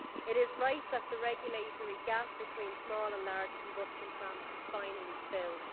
It is right that the regulatory gap between small and large combustion plants is finally filled.